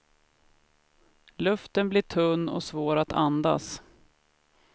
Luften blir tunn och svår att andas.